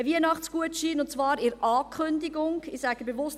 Ein Weihnachtsgutschein, und zwar in Form der Ankündigung – ich sage bewusst: